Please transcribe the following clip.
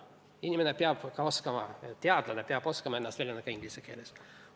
Inimene peab oskama, teadlane peab oskama ennast väljendada ka inglise keeles.